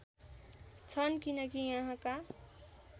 छन् किनकि यहाँका